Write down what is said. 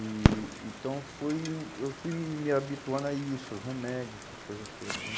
E então eu fui hum eu fui me me habituando a isso, os remédios, essas coisas todas né?